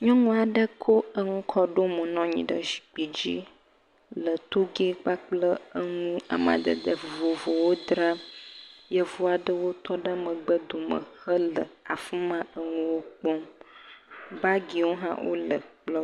Nyɔnu aɖe kɔ enu kɔ ɖe mo nɔ anyi ɖe zikpi dzi le eŋu amadede vovovowo dram. Yevu aɖewo tɔ ɖe megbedome hele afi ma eŋuwo kpɔm. Baagiwo hã wole kplɔ̃.